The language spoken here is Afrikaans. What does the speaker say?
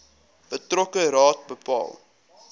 betrokke raad bepaal